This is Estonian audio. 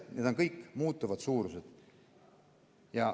Need on kõik muutuvad suurused.